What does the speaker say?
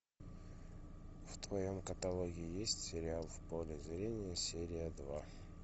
в твоем каталоге есть сериал в поле зрения серия два